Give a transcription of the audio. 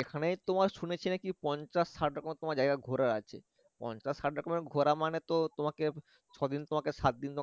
এখানে তোমার শুনেছি নাকি পঞ্চাশ ষাটের মতো ঘোরার জায়গা আছে পঞ্চাশ ষাট ঘোরা মানে তো তোমাকে ছ দিন তোমাকে সাত দিন তোমাকে